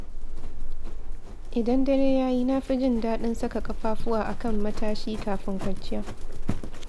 Idan dare ya yi, na fi jin daɗin saka ƙafafuwa a kan matashi kafin kwanciya.